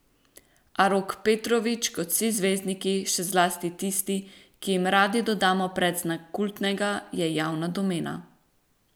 A Rok Petrovič, kot vsi zvezdniki, še zlasti tisti, ki jim radi dodamo predznak kultnega, je javna domena.